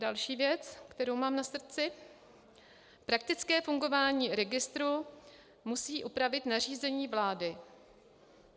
Další věc, kterou mám na srdci - praktické fungování registru musí upravit nařízení vlády.